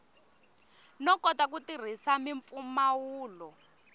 no kota ku tirhisa mimpfumawulo